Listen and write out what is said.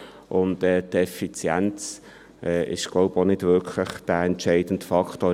Die Effizienz ist, so glaube ich, auch nicht wirklich der entscheidende Faktor;